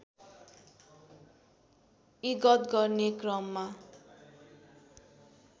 इगत गर्ने क्रममा